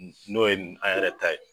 N'o ye an yɛrɛ ta ye.